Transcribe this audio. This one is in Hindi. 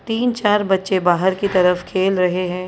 तीन चार बच्चे बाहर की तरफ खेल रहे हैं।